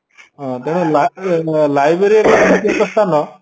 ହଁ ତେଣୁ library ଏମିତି ଏକ ସ୍ତାନ